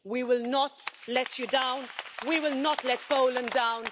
We will not let you down. We will not let Poland down.